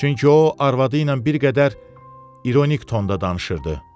Çünki o, arvadı ilə bir qədər ironik tonda danışırdı.